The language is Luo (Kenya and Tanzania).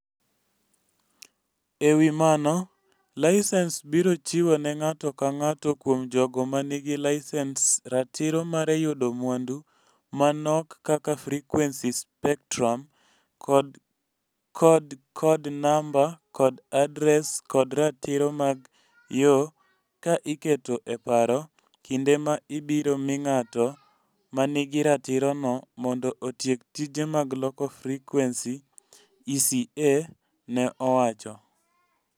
E wi mano, laisens biro chiwo ne ng'ato ka ng'ato kuom jogo ma nigi laisens ratiro mar yudo mwandu ma nok kaka frequency spectrum, kod kod kod namba kod adres kod ratiro mag yo ka iketo e paro kinde ma ibiro mi ng'at ma nigi ratirono mondo otiek tije mag loko frequency, ECA ne owacho.